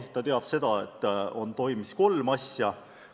Ta teab, et edasi toimus kolm asja.